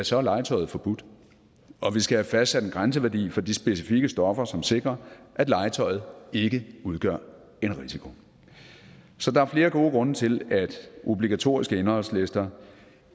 så er legetøjet forbudt og vi skal have fastsat en grænseværdi for de specifikke stoffer som sikrer at legetøjet ikke udgør en risiko så der er flere gode grunde til at obligatoriske indholdslister